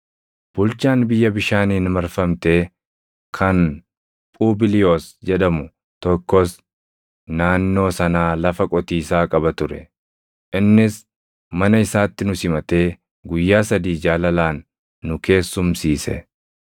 Bulchaan biyya bishaaniin marfamtee kan Phubiliyoos jedhamu tokkos naannoo sanaa lafa qotiisaa qaba ture; innis mana isaatti nu simatee guyyaa sadii jaalalaan nu keessumsiise.